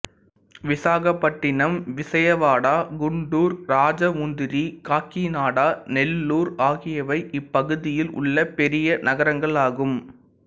விசாகப்பட்டினம் விசயவாடா குண்டூர் ராஜமுந்திரி காக்கிநாடா நெல்லூர் ஆகியவை இப்பகுதியில் உள்ள பெரிய நகரங்களாகும்